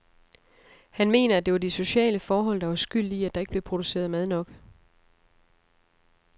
Han mener at det var de sociale forhold, der var skyld i, at der ikke blev produceret mad nok.